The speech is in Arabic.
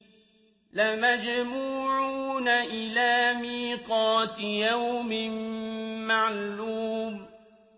لَمَجْمُوعُونَ إِلَىٰ مِيقَاتِ يَوْمٍ مَّعْلُومٍ